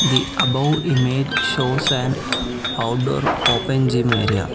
The above image shows an outdoor open gym area.